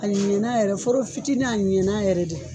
A ɲɛna yɛrɛ de fɔrɔ fitini a ɲɛna yɛrɛ de